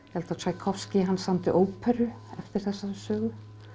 Tsjækovskí hann samdi óperu eftir þessari sögu